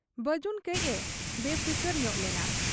ᱵᱟᱹᱡᱩᱱ ᱠᱟᱹᱡ ᱮ ᱵᱮᱯᱷᱤᱠᱤᱨ ᱧᱚᱜ ᱞᱮᱱᱟ ᱾